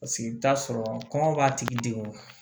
Paseke i bɛ taa sɔrɔ kɔngɔ b'a tigi degun